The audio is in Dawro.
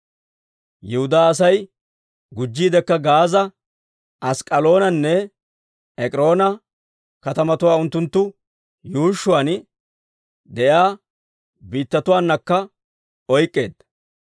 Yihudaa Asay gujjiidekka Gaaza, Ask'k'aloonanne Ek'iroona katamatuwaa unttunttu yuushshuwaan de'iyaa biittatuwaanakka oyk'k'eedda.